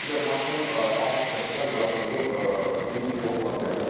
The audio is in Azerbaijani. Bir də maşının alt hissəsinə quraşdırılıb litium batareyalar.